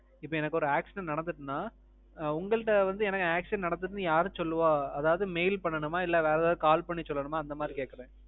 இப்போ எனக்கு ஒரு accident நடந்திட்டுனா. உங்கள்ட வந்து எனக்கு accident நடந்திருச்சுனு யாரு சொல்லுவா? அதாவது mail பண்ணனுமா? இல்ல வேற ஏதாவது call பண்ணி சொல்லனுமா? அந்த மாறி கேக்குறேன்.